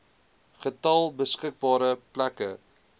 getal beskikbare plekke